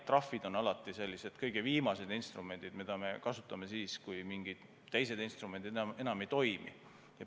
Trahvid on alati need kõige viimased instrumendid, mida me kasutame siis, kui mingid teised instrumendid enam ei toimi.